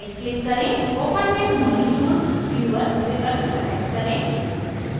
open with molecules viewer विकल्प select करें